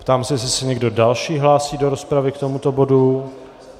Ptám se, jestli se někdo další hlásí do rozpravy k tomuto bodu.